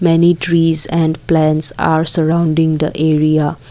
Many trees and plants are sorrounding the area.